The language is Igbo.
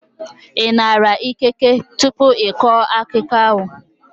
Ị nara ikike tupu ị kọọ akụkọ ahụ?